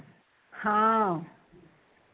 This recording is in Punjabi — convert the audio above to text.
ਹਾਂ